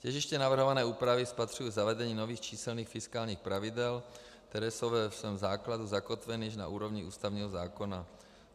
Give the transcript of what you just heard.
Těžiště navrhované úpravy spatřuji v zavedení nových číselných fiskálních pravidel, která jsou ve svém základu zakotvena již na úrovni ústavního zákona.